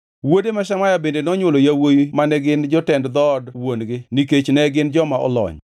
Wuode ma Shemaya bende nonywolo yawuowi mane gin jotend dhood wuon-gi nikech ne gin joma olony.